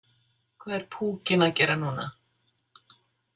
Hvað er púkinn að gera núna?